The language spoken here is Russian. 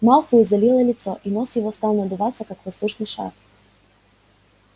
малфою залило лицо и нос его стал надуваться как воздушный шар